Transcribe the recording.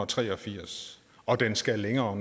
tre og firs og den skal længere